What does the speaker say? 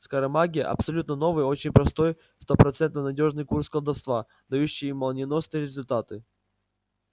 скоромагия абсолютно новый очень простой стопроцентно надёжный курс колдовства дающий молниеносные результаты